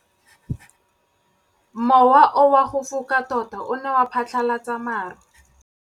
Mowa o wa go foka tota o ne wa phatlalatsa maru.